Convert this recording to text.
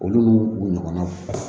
Olu n'u u ɲɔgɔnnaw